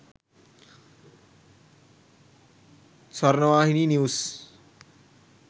sawarnawahini news